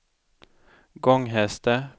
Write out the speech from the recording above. Gånghester